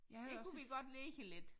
Der kunne vi godt ligge lidt